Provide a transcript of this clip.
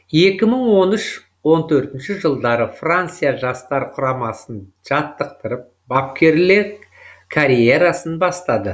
екі мың он үш он төртінші жылдары франция жастар құрамасын жаттықтырып бапкерлік карьереасын бастады